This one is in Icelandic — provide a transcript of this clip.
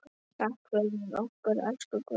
Takk fyrir okkur, elsku Guðrún.